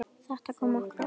Þetta kom okkur á óvart.